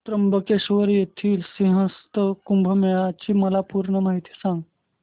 त्र्यंबकेश्वर येथील सिंहस्थ कुंभमेळा ची मला पूर्ण माहिती सांग